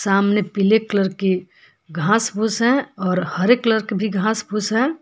सामने पीले कलर की घास फूस है और हरे कलर की भी घास फूस है।